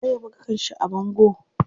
Waye ya buga kanshi a bango?